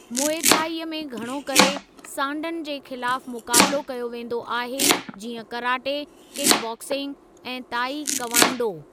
Muay Thai में घणो करे सांडनि जे ख़िलाफ़ु मुक़ाबिलो कयो वेंदो आहे जीअं कराटे, किक बॉक्सिंग ऐं ताई कव्वांडो।